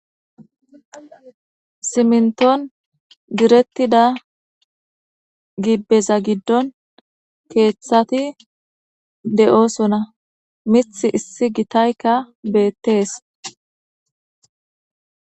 Siminton direttida gibeza giddon keeththati de'osonna miththi issi gitayka beetes.